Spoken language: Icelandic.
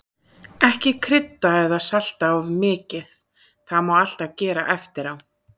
Ekki krydda eða salta of mikið, það má alltaf gera eftirá.